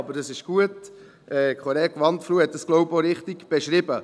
Aber es ist gut, der Kollege Wandfluh hat das, glaube ich, auch richtig beschrieben.